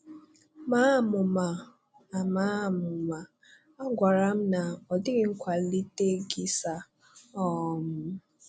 Màa amụ̀ma? A Màa amụ̀ma? A gwàrà m na, “Ọ dị̀ghị kwàlìtè gị, sir.” um